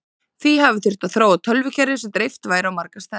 því hafi þurft að þróa tölvukerfi sem dreift væri á marga staði